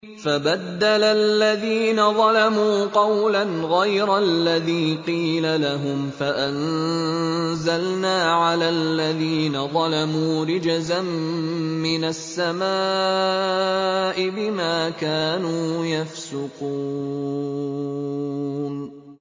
فَبَدَّلَ الَّذِينَ ظَلَمُوا قَوْلًا غَيْرَ الَّذِي قِيلَ لَهُمْ فَأَنزَلْنَا عَلَى الَّذِينَ ظَلَمُوا رِجْزًا مِّنَ السَّمَاءِ بِمَا كَانُوا يَفْسُقُونَ